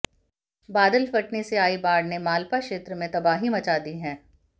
बादल फटने से आई बाढ़ ने मालपा क्षेत्र में तबाही मचा दी है